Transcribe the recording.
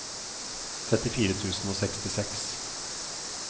trettifire tusen og sekstiseks